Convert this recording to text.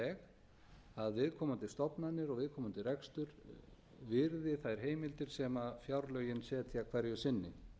veg að viðkomandi stofnanir og viðkomandi rekstur virði þær heimildir sem fjárlögin setja hverju sinni